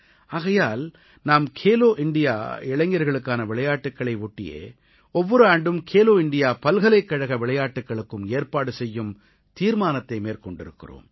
ஆகையால் நாம் கேலோ இண்டியா இளைஞர்களுக்கான விளையாட்டுக்களை ஒட்டியே ஒவ்வொரு ஆண்டும் கேலோ இண்டியா பல்கலைக்கழக விளையாட்டுக்களுக்கும் ஏற்பாடு செய்யும் தீர்மானத்தை மேற்கொண்டிருக்கிறோம்